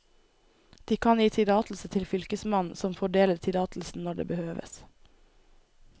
De kan gi tillatelse til fylkesmannen, som fordeler tillatelsen når det behøves.